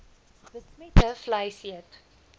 besmette vleis eet